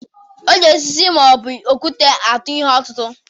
E ji osisi ma ọ bụ okwute atụ ihe ọtụtụ.